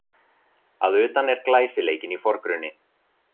Að utan er glæsileikinn í forgrunni